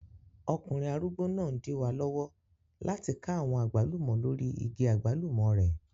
Ọkùnrin arúgbó náà n dí wa lọ́wọ́ láti ká àwọn àgbálùmọ́ lórí igi àgbálùmọ́ rẹ̀